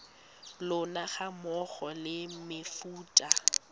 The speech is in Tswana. lona ga mmogo le mefuta